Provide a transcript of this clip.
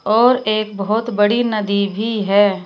और एक बहोत बड़ी नदी भी है।